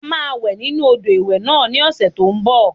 A máa wẹ̀ nínu odò ìwẹ̀ náà ní ọ̀sẹ̀ tó n bọ̀